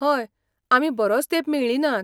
हय, आमी बरोच तेंप मेळ्ळीं नात.